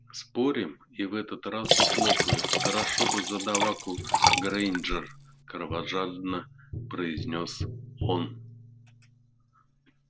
спорим и в этот раз ухлопают хорошо бы задаваку грэйнджер кровожадно произнёс он